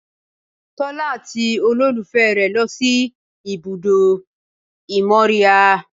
Tọ́lá àti olólùfẹ́ rẹ̀ lọ sí ibùdó ìmóríyá